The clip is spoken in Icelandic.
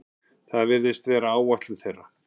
Það virðist vera áætlun þeirra